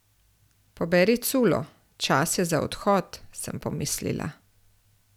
Poberi culo, čas je za odhod, sem pomislila.